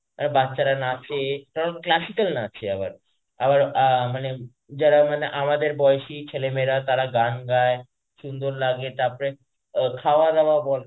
বাচ্ছারা নাচে classical নাচে আবার আবার আ মানে যারা মানে আমাদের বয়সী ছেলে মেয়েরা তারা গান গায় সুন্দর লাগে তারপরে অ খাওয়া দাওয়া বল,